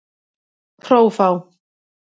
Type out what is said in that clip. Hrófá